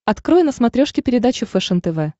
открой на смотрешке передачу фэшен тв